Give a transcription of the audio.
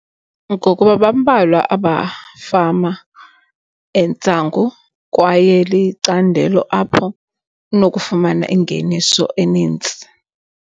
Ngokuba bambalwa abafama entsangu kwaye licandelo apho unokufumana ingeniso enintsi.